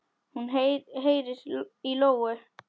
Hún heyrir í lóu.